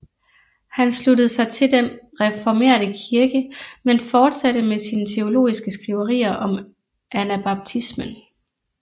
Han sluttede sig til den reformerte kirke men fortsatte med sine teologiske skriverier om anabaptismen